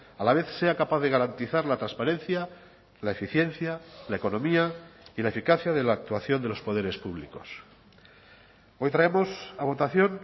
a la vez sea capaz de garantizar la transparencia la eficiencia la economía y la eficacia de la actuación de los poderes públicos hoy traemos a votación